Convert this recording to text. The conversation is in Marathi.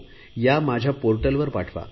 या माझ्या पोर्टलवर पाठवा